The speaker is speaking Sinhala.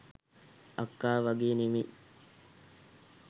අක්කා වගේ නෙමෙයි